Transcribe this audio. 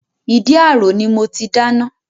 Ìdí àrò ni mo ti dáná